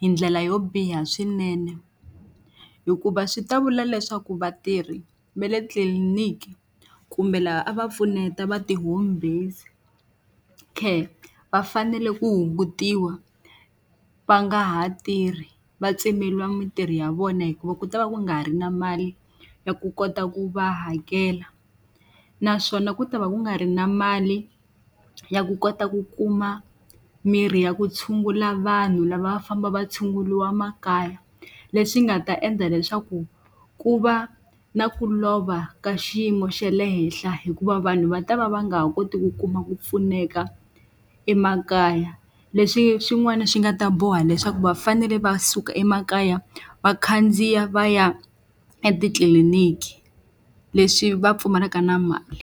hi ndlela yo biha swinene, hikuva swi ta vula leswaku vatirhi va le tliliniki kumbe lava a va pfuneta va ti-home based care va fanele ku hungutiwa va nga ha tirhi, va tsemeriwa mitirho ya vona hikuva ku ta va ku nga ri na mali ya ku kota ku va hakela. Naswona ku ta va ku nga ri na mali ya ku kota ku kuma mirhi ya ku tshungula vanhu lava va famba va tshunguriwa makaya, leswi nga ta endla leswaku ku va na ku lova ka xiyimo xa le henhla hikuva vanhu va ta va va nga ha koti ku kuma ku pfuneka emakaya. Leswi xin'wana xi nga ta boha leswaku va fanele va suka emakaya va khandziya va ya etitliliniki, leswi va pfumalaka na mali.